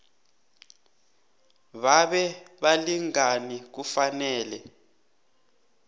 babe balingani kufanele